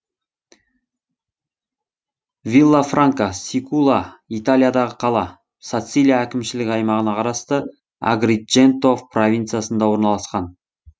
виллафранка сикула италиядағы қала сацилия әкімшілік аймағына қарасты агридженто провинциясында орналасқан